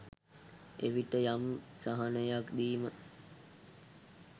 එවිට යම් සහනයක් දීම